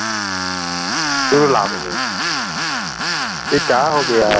true love य़े क्य़ा हौ गय़ा